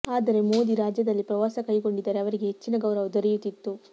ಆದರೆ ಮೋದಿ ರಾಜ್ಯದಲ್ಲಿ ಪ್ರವಾಸ ಕೈಗೊಂಡಿದ್ದರೆ ಅವರಿಗೆ ಹೆಚ್ಚಿನ ಗೌರವ ದೊರೆಯುತ್ತಿತ್ತು